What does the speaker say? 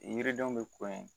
Yiridenw bɛ ko in